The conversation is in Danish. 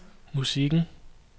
musikken